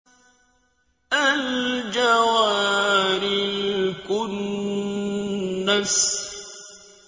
الْجَوَارِ الْكُنَّسِ